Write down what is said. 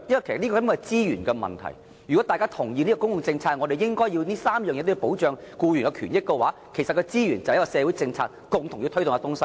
其實，這是一個資源問題：如果大家同意從公共政策角度而言，這3項對僱員權益的保障應該繼續，那麼我們便要在社會政策上爭取所需的資源。